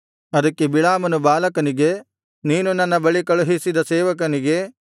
ಅದಕ್ಕೆ ಬಿಳಾಮನು ಬಾಲಾಕನಿಗೆ ನೀನು ನನ್ನ ಬಳಿ ಕಳುಹಿಸಿದ ಸೇವಕನಿಗೆ